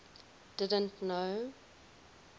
didn t know